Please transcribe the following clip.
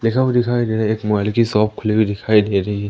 लिखा हुआ दिखाई दे रहा है एक मोबाइल की सॉप खुली हुई दिखाई दे रही है।